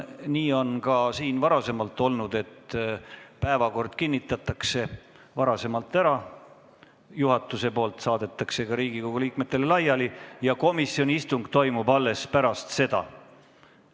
Nii on ka varem siin olnud, et päevakord kinnitatakse ära, juhatus saadab selle Riigikogu liikmetele laiali ja komisjoni istung toimub alles pärast seda.